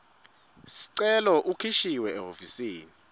sicelo ukhishiwe ehhovisi